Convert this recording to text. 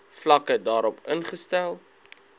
vlakke daarop ingestel